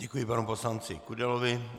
Děkuji panu poslanci Kudelovi.